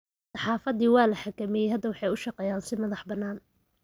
Saxaafaddii waa la xakameeyey. Hadda waxay u shaqeeyaan si madaxbannaan.